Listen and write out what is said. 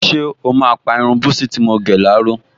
Ṣé o máa pa irun búsí tí mo gẹ̀ láró?